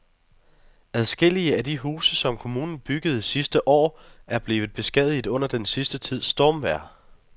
Adskillige af de huse, som kommunen byggede sidste år, er blevet beskadiget under den sidste tids stormvejr.